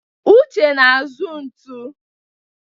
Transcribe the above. Uche na-azụ ntu.